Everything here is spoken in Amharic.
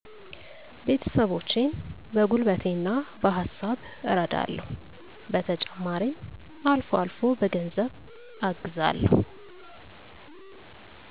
ቤተሰቦቸን በጉልበቴና በሀሳብ እረዳለሁ። በተጨማሪም አልፎ አልፎ በገንዘብ አግዛለሁ።